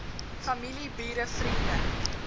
familie bure vriende